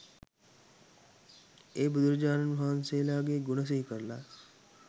ඒ බුදුරජාණන් වහන්සේලාගේ ගුණ සිහිකරලා